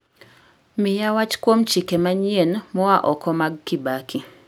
Miya wach kuom chike maayien moa oko mag kibaki